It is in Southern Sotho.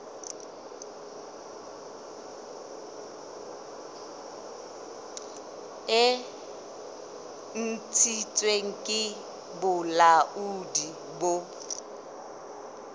e ntshitsweng ke bolaodi bo